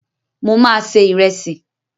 Mo ma se Ìrẹ́sì.